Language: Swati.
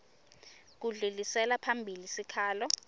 kudlulisela phambili sikhalo